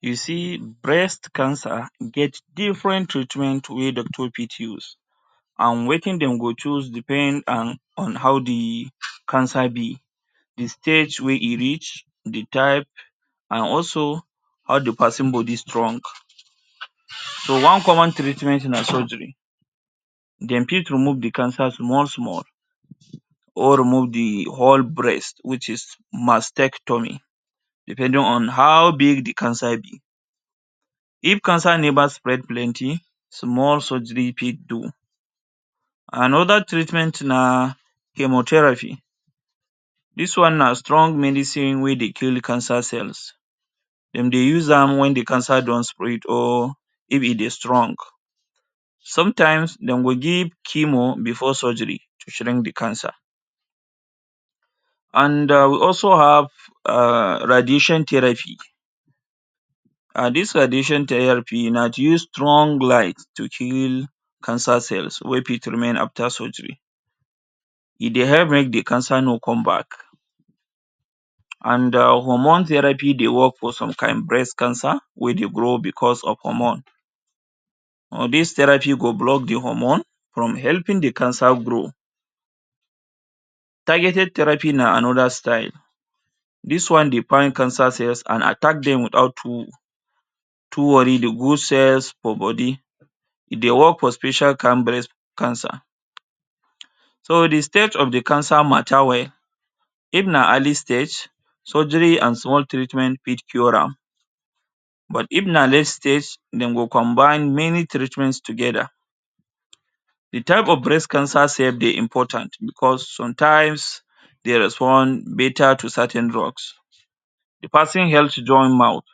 You see, breast cancer get different treatment wey doctor fit use an wetin dem go choose depend an on how the cancer be —the stage wey e reach, the type, an also how the peson body strong. So one common treatment na surgery. Dem fit remove the cancer small-small, or remove the whole breast which is mastectomy depending on how big the cancer be. If cancer neva spread plenty, small surgery fit do. Another treatment na chemotherapy. Dis one na strong medicine wey dey kill cancer cells. Dem dey use am wen the cancer don spread or if e dey strong. Sometimes, dem go give chemo before surgery to shrink the cancer. An um we also have [um]radiation therapy. um Dis radiation therapy na to use strong light to kill cancer cells wey fit remain after surgery. E dey help make the cancer no come back. An um hormone therapy dey work for some kain breast cancer wey dey grow becos of hormone. um Dis therapy go block the hormone from helping the cancer grow. Targeted therapy na another style. Dis one dey find cancer cells an attack dem without too too dey go cells for body. E dey work for special kain breast cancer. So, the stage of the cancer matter well. If na early stage, surgery an small treatment fit cure am. But if na late stage, dem go combine many treatments together. The type of breast cancer sef dey important becos sometimes, dey respond beta to certain drugs. The peson health join mouth.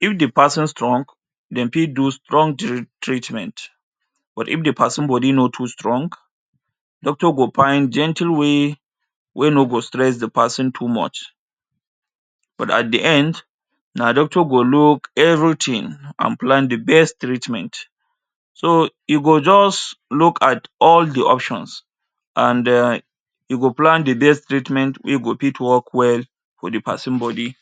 If the peson strong, dem fit do strong treatment. But if the peson body no too strong, doctor go find gentle way wey no go stress the peson too much. But at the end, na doctor go look everything an plan the best treatment. So, e go juz look at all the options an um e go plan the best treatment wey go fit work well for the peson body.